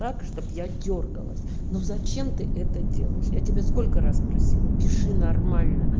так чтобы я дёргалась ну зачем ты это делаешь я тебе сколько раз просила пиши нормально